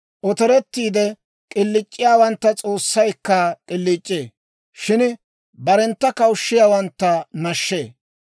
Otorettiide k'iliic'iyaawantta S'oossaykka k'iliic'ee; shin barentta kawushshiyaawantta nashshee.